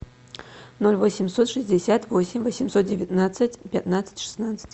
ноль восемьсот шестьдесят восемь восемьсот девятнадцать пятнадцать шестнадцать